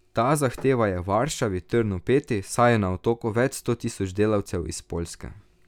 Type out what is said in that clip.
Ta zahteva je Varšavi trn v peti, saj je na Otoku več sto tisoč delavcev iz Poljske.